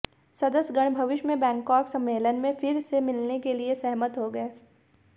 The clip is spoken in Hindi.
सदस्य गण भविष्य में बैंकाक सम्मेलन में फिर से मिलने के लिए सहमत हो गये